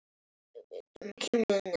En, frændi